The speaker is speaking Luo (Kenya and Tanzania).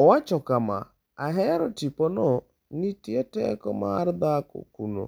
Owacho kama: “Ahero tipono, nitie teko mar dhako kuno,